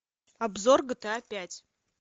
обзор гта пять